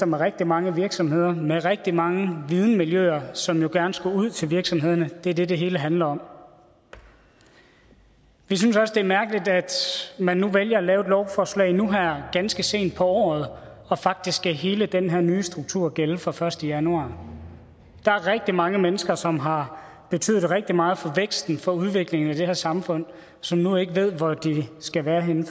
med rigtig mange virksomheder med rigtig mange videnmiljøer som jo gerne skulle ud til virksomhederne det er det det hele handler om vi synes også det er mærkeligt at man nu vælger at lave et lovforslag her ganske sent på året og faktisk skal hele den her nye struktur gælde fra den første januar der er rigtig mange mennesker som har betydet rigtig meget for væksten for udviklingen i det her samfund som nu ikke ved hvor de skal være henne